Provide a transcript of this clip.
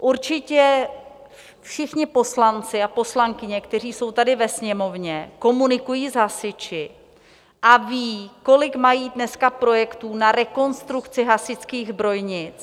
Určitě všichni poslanci a poslankyně, kteří jsou tady ve Sněmovně, komunikují s hasiči a ví, kolik mají dneska projektů na rekonstrukci hasičských zbrojnic.